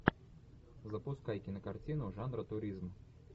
запускай кинокартину жанра туризм